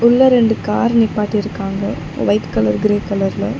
உள்ள ரெண்டு கார் நிப்பாட்டிருக்காங்க வைட் கலர் கிரே கலர்ல .